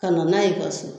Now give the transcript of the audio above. Ka na n'a ye ka so